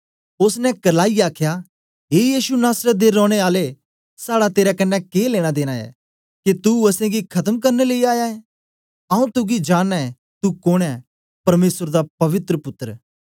ओसने करलाईयै आखया ए यीशु नासरत दे रौने आले साड़ा तेरे कन्ने के लेनादेना ऐ के तू असेंगी खत्म करन लेई आया ऐं आऊँ तुगी जाननां ऐं तुं कोन ऐं परमेसर दा पवित्र पुत्तर